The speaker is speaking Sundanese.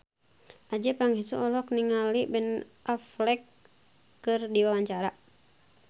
Adjie Pangestu olohok ningali Ben Affleck keur diwawancara